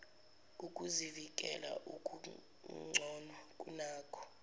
ukuzivikela okugcono kunakho